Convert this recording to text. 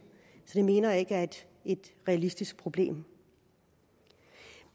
det mener jeg ikke er et realistisk problem